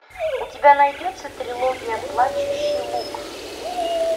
у тебя найдется трилогия плачущий луг